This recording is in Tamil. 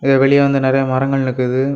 வெளிய வந்து நறைய மரங்கள் நிக்குது.